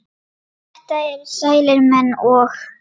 þetta eru sælir menn og